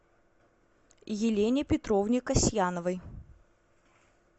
елене петровне касьяновой